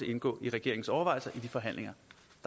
indgå i regeringens overvejelser i de forhandlinger